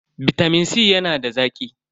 Bitamin C yana da zaki.